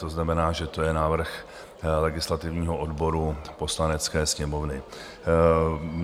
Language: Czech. To znamená, že to je návrh legislativního odboru Poslanecké sněmovny.